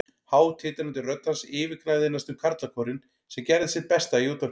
Há, titrandi rödd hans yfirgnæfði næstum karlakórinn, sem gerði sitt besta í útvarpinu.